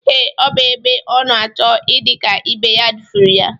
Ee, ọ bụ ebe ọ na-achọ idị ka ibe ya dufuru ya.